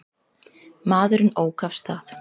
Maðurinn ók af stað.